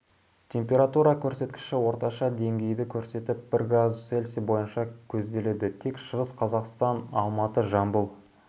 температура көрсеткіші орташа деңгейді көрсетіп бір градус цельсий бойынша көзделеді тек шығыс қазақстан алматы жамбыл